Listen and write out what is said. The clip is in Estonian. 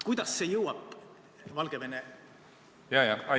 Kuidas see abi jõuab Valgevene kodanikuühiskonna organisatsioonideni?